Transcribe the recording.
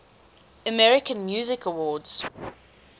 american music awards